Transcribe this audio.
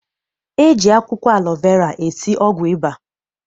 E ji akwụkwọ alọ vera esi ọgwụ ụba.